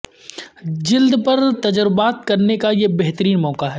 جلد پر تجربات کرنے کا یہ بہترین موقع ہے